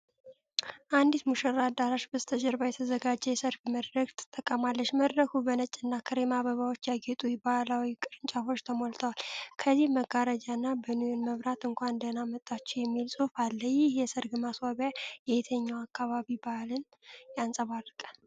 አንዲት ሙሽራ አዳራሽ በስተጀርባ የተዘጋጀ የሰርግ መድረክን ተጠቅማለች። መድረኩ በነጭና ክሬም አበባዎች ያጌጡ የባሕላዊ ቅርጫቶች ተሞልቷል። ከፊት መጋረጃና በኒዮን መብራት "እንኳን ደህና መጣችሁ" የሚል ጽሑፍ አለ። ይህ የሰርግ ማስዋቢያ የየትኛውን አካባቢ ባሕል ያንጸባርቃል?